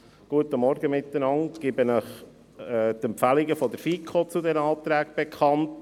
Ich gebe Ihnen die Empfehlungen der FiKo zu diesen Anträgen bekannt: